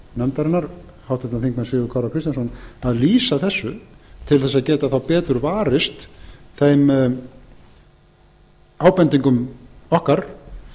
nefndarinnar háttvirtur þingmaður sigurð kára kristjánsson að lýsa þessu til að geta þá betur varist þeim ábendingum okkar